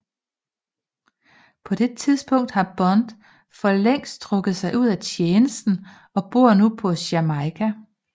På det tidspunkt har Bond for længst trukket sig ud af tjenesten og bor nu på Jamaica